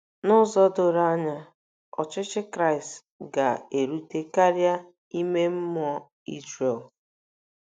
N'ụzọ doro anya, ọchịchị Kristi ga-erute karịa ime mmụọ Izrel.